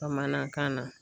Bamanankan na.